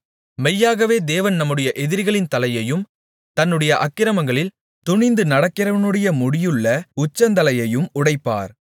மெய்யாகவே தேவன் தம்முடைய எதிரிகளின் தலையையும் தன்னுடைய அக்கிரமங்களில் துணிந்து நடக்கிறவனுடைய முடியுள்ள உச்சந்தலையையும் உடைப்பார்